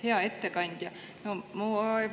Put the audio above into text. Hea ettekandja!